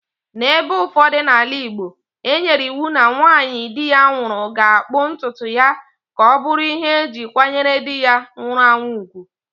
N'ebe ụfọdụ n'ala igbo,e nyere iwu na nwanyị di ya nwụrụ ga akpụ ntutu ya ka ọ bụrụ ihe e ji kwanyere di ya nwụrụ anwụ ùgwù.